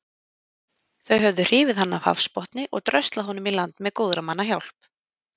Þau höfðu hrifið hann af hafsbotni og dröslað honum í land með góðra manna hjálp.